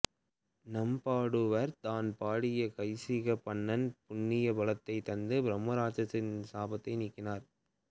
நம்பாடுவார் தான் பாடிய கைசிகப் பண்ணின் புண்ணிய பலத்தைத் தந்து பிரம்ம ராட்சனனின் சாபத்தை நீக்கினார்